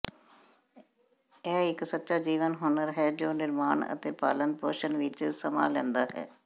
ਇਹ ਇਕ ਸੱਚਾ ਜੀਵਨ ਹੁਨਰ ਹੈ ਜੋ ਨਿਰਮਾਣ ਅਤੇ ਪਾਲਣ ਪੋਸ਼ਣ ਵਿਚ ਸਮਾਂ ਲੈਂਦਾ ਹੈ